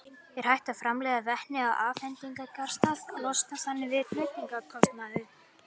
Er hægt að framleiða vetni á afhendingarstað og losna þannig við flutningskostnað?